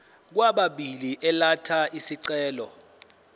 kwababili elatha isicelo